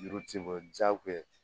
Juru ti bɔ jagoya ye